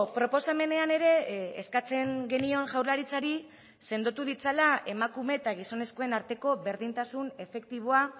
proposamenean ere eskatzen genion jaurlaritzari sendotu ditzala emakume eta gizonezkoen arteko berdintasun efektiboa